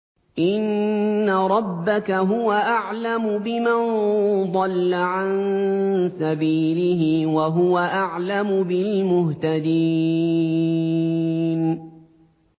إِنَّ رَبَّكَ هُوَ أَعْلَمُ بِمَن ضَلَّ عَن سَبِيلِهِ وَهُوَ أَعْلَمُ بِالْمُهْتَدِينَ